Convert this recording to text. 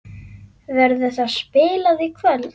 Verður það spilað í kvöld?